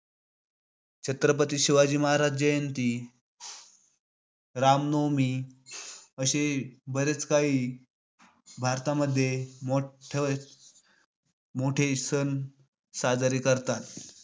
छत्रपती शिवाजी महाराज जयंती, रामनवमी, अशी बरेच काही भारतामध्ये मोठ्~ मोठेही सण साजरे करतात.